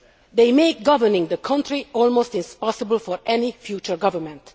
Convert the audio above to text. They make governing the country almost impossible for any future government.